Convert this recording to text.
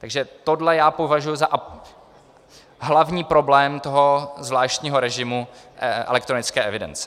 Takže tohle já považuji za hlavní problém toho zvláštního režimu elektronické evidence.